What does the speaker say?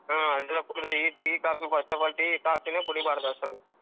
ಹ್ಮ್ ಅದು ಕುಡ್ದ್ರೆ heat tea, coffee first of all tea, coffee ನೇ ಕೂಡಿಬಾರ್ದು అసలు .